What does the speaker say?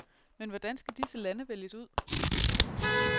Men hvordan skal disse lande vælges ud?